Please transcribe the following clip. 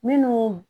Minnu